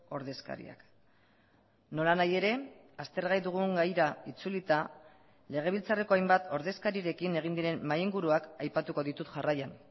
ordezkariak nola nahi ere aztergai dugun gaira itzulita legebiltzarreko hainbat ordezkarirekin egin diren mahai inguruak aipatuko ditut jarraian